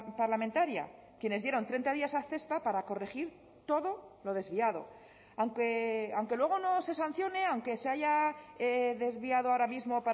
parlamentaria quienes dieron treinta días a cespa para corregir todo lo desviado aunque luego no se sancione aunque se haya desviado ahora mismo